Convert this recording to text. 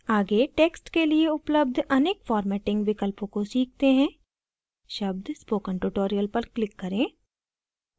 आगे texts के लिए उपलब्ध अनेक formatting विकल्पों को सीखते हैं शब्द spoken tutorial पर click करें